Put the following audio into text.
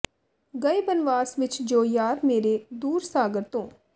ਗਏ ਬਨਵਾਸ ਵਿੱਚ ਜੋ ਯਾਰ ਮੇਰੇ ਦੂਰ ਸਾਗਰ ਤੋਂ